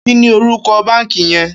Kini órúkò bànkí yèn?